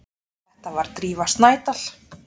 Þetta var Drífa Snædal.